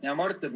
Hea Mart!